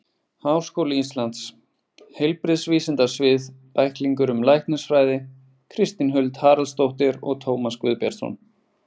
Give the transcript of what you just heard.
Háskóli Íslands: Heilbrigðisvísindasvið- Bæklingur um læknisfræði Kristín Huld Haraldsdóttir og Tómas Guðbjartsson.